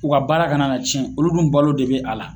U ka baara ka na cɛn olu dun balo de be a la